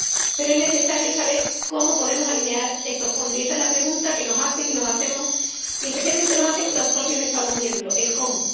Pero es necesario saber cómo podemos alinear estos fondos, y esa es la pregunta que nos hacen y nos hacemos, y especialmente nos la hacen los propios Estados miembros cómo.